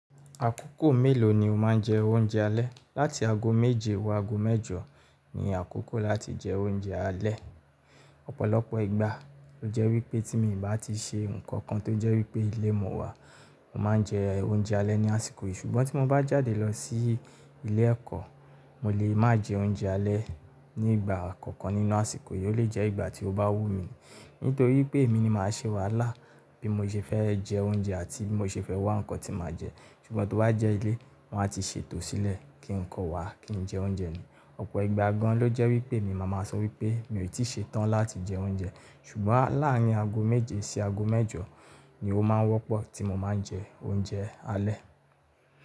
Àkókò mélòó ni o máa ń jẹ oúnjẹ alẹ́? Lati ago méje wó ago mẹ́jọ ni àkókò láti jẹ oúnjẹ alẹ́. Ọ̀pọ̀lọpọ̀ ìgbà, ó jẹ́ wípé tí mí n bá ti se ǹkankan tó jẹ́ wípé ilé mo wà, mo máa ń jẹ oúnjẹ alẹ́ ní àsìkò yìí. Ṣùgbọ́n tí mo bá jáde lọ sí ilé ẹ̀kọ́, mo lè má jẹ oúnjẹ alẹ́ ní ìgbà kankan nínú àsìkò yìí, ó lè jẹ́ ìgbà tí ó bá wù mí. Nítorí pé èmi ni màá ṣe wàhálà bí mo ṣe fẹ́ jẹ oúnjẹ àti bí mo ṣe fẹ́ wá nǹkan tí màá jẹ. Ṣùgbọ́n tò bá jẹ́ ilé, wọn a ti ṣètò sílẹ̀ kí nǹkan wà kí n jẹ oúnjẹ mi. Ọ̀pọ̀ ìgbà gan ló jẹ́ wípé emi màá máa sọ wípé mi ò tí ṣe tán láti jẹ oúnjẹ. Ṣùgbọ́n láàrin ago méje sí ago mẹ́jọ ni ó máa ń wọ́pọ̀ tí mo máa ń jẹ oúnjẹ alẹ́.